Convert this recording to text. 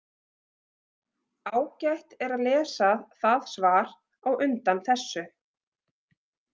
Ágætt er að lesa það svar á undan þessu.